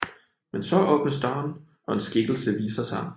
Men så åbnes døren og en skikkelse viser sig